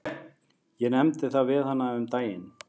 Ég nefndi það við hana um daginn.